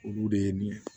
Olu de ye nin ye